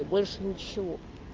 больше ничего